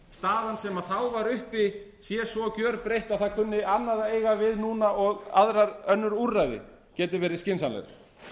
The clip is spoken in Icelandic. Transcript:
sem þá var uppi sé svo gerbreytt að það kunni annað að eiga við núna og önnur úrræði geti verið skynsamleg